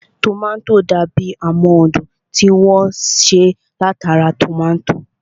Tòmátò dàbi amóhundùn tí wọ́n ṣe látara tòmátò